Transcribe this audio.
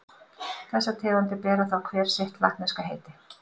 Þessar tegundir bera þá hver sitt latneska heiti.